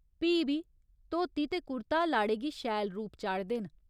प्ही बी धोती ते कुर्ता लाड़े गी शैल रूप चाढ़दे न।